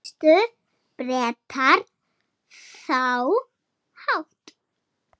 Staðfestu Bretar það brátt.